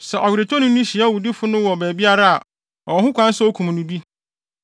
Sɛ ɔweretɔni no hyia owudifo no wɔ baabiara a, ɔwɔ ho kwan sɛ okum no bi.